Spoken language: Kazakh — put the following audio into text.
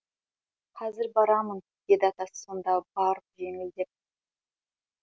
қазір барамын деді атасы сонда барып жеңілдеп